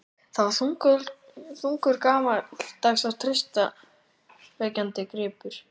Það var þungur, gamaldags og traustvekjandi gripur.